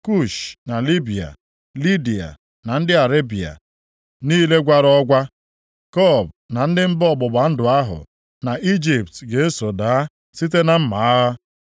Kush + 30:5 Ya bụ, Itiopia na Libiya, Lidiya na ndị Arebịa niile gwara ọgwa, Kub na ndị mba ọgbụgba ndụ ahụ, na Ijipt ga-eso daa site na mma agha.